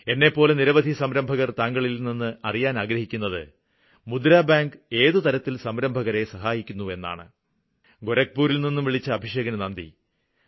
എന്നെപ്പോലെ നിരവധി സംരംഭകര് താങ്കളില്നിന്ന് അറിയാന് ആഗ്രഹിക്കുന്നത് മുദ്ര ബാങ്ക് ഏത് തരത്തില് സംരംഭകരെ സഹായിക്കുന്നുവെന്നാണ് ഗോരഖ്പൂരില്നിന്നും വിളിച്ച അഭിഷേകിന് നന്ദി